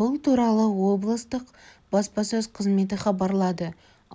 бұл туралы облыстық баспасөз қызметі хабарлады